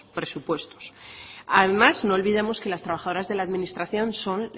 presupuestos además no olvidemos que las trabajadoras de la administración son